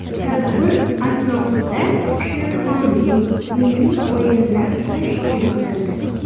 Tadbir asnosida she’rxonlik, milliy o‘yinlar tashkil qilindi.